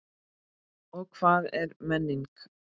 Og hvað er menning?